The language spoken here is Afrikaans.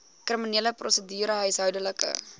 kriminele prosedure huishoudelike